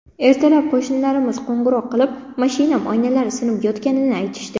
Ertalab qo‘shnilarimiz qo‘ng‘iroq qilib, mashinam oynalari sinib yotganini aytishdi.